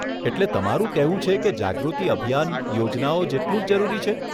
એટલે તમારું કહેવું છે કે જાગૃતિ અભિયાન યોજનાઓ જેટલું જ જરૂરી છે.